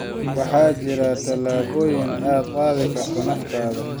Waxaa jira talaabooyin aad qaadi karto naftaada.